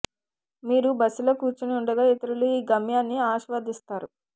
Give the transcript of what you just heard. మీరు బస్సులో కూర్చొని ఉండగా ఇతరులు ఈ గమ్యాన్ని ఆస్వాదిస్తారు